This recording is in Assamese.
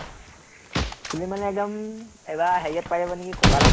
চুলি মানে একদম এবাৰ হেৰিয়াত পাই যাব নেকি, ককালত